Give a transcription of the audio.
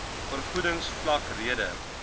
vergoedings vlak rede